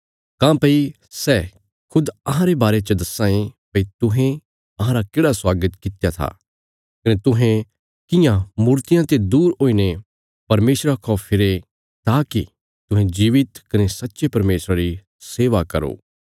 काँह्भई सै खुद अहांरे बारे च दस्सां ये भई तुहें अहांरा केढ़ा स्वागत कित्या था कने तुहें कियां मूर्तियां ते दूर हुईने परमेशरा खौ फिरे ताकि तुहें जीवित कने सच्चे परमेशरा री सेवा करो